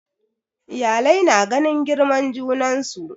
Iyalai na ganin girman junansu